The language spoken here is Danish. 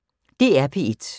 DR P1